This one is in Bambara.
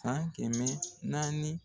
san kɛmɛ naani.